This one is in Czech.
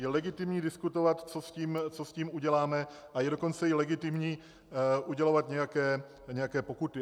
Je legitimní diskutovat, co s tím uděláme, a je dokonce i legitimní udělovat nějaké pokuty.